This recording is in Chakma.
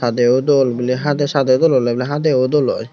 sadeyyo dol biley hadey sadey dol oley hadeyo dol oi.